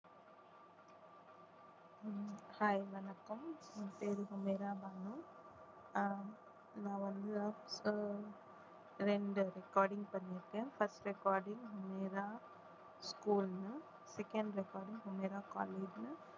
hi வணக்கம், என் பேரு சமீரா பானு அஹ் நான் வந்து அஹ் இரண்டு recording பண்ணியிருக்கேன் first recording சமீரா school னு second recording சமீரா college னு